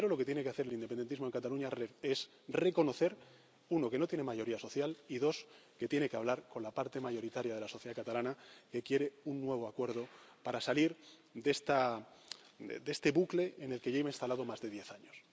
Pero primero, lo que tiene que hacer el independentismo en Cataluña es reconocer 1, que no tiene mayoría social y 2, que tiene que hablar con la parte mayoritaria de la sociedad catalana, que quiere un nuevo acuerdo para salir de este bucle en el que lleva instalado más de diez